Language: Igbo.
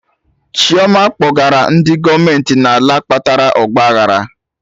Chioma kpọrọgara ndị gọọmenti n'ala kpatara ọgba aghara